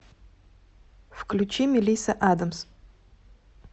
включи мелисса адамс